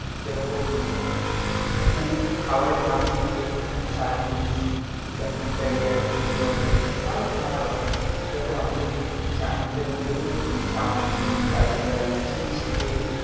যেরকম ফুড খাবারের নাম শুনলেই চাইনিজ, ইটাইটালিয়া, ইন্ডিয়ান, আরো নানারকম. এরকম আমি যদি চাইনিজের মধ্যে বলি, chowmein, fried rice, chilli chicken